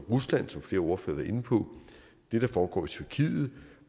rusland som flere ordførere inde på det der foregår i tyrkiet